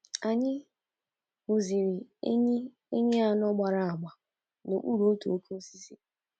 Anyị hụziri enyí enyí anọ gbara agba n’okpuru otu oke osisi.